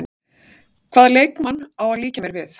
Hvaða leikmann á að líkja mér við?